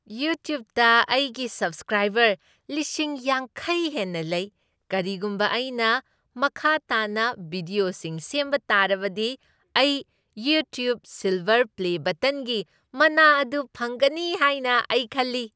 ꯌꯨꯇ꯭ꯌꯨꯕꯇ ꯑꯩꯒꯤ ꯁꯕꯁꯀ꯭ꯔꯥꯏꯕꯔ ꯂꯤꯁꯤꯡ ꯌꯥꯡꯈꯩ ꯍꯦꯟꯅ ꯂꯩ꯫ ꯀꯔꯤꯒꯨꯝꯕ ꯑꯩꯅ ꯃꯈꯥ ꯇꯥꯅ ꯚꯤꯗ꯭ꯌꯣꯁꯤꯡ ꯁꯦꯝꯕ ꯇꯥꯔꯕꯗꯤ, ꯑꯩ "ꯌꯨꯇ꯭ꯌꯨꯕ ꯁꯤꯜꯚꯔ ꯄ꯭ꯂꯦ ꯕꯇꯟ" ꯒꯤ ꯃꯅꯥ ꯑꯗꯨ ꯐꯪꯒꯅꯤ ꯍꯥꯏꯅ ꯑꯩ ꯈꯜꯂꯤ꯫